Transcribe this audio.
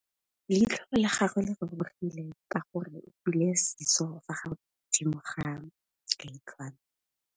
Leitlhô la gagwe le rurugile ka gore o tswile sisô fa godimo ga leitlhwana.